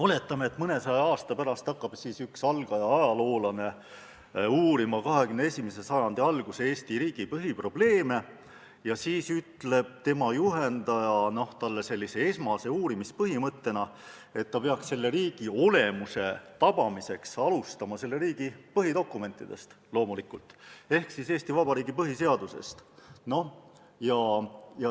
Oletame, et mõnesaja aasta pärast hakkab üks algaja ajaloolane uurima 21. sajandi alguse Eesti riigi põhiprobleeme, ja oletame, et tema juhendaja ütleb talle esmase uurimispõhimõttena, et selle riigi olemuse tabamiseks peaks ta loomulikult alustama selle riigi põhidokumentidest ehk Eesti Vabariigi põhiseadusest.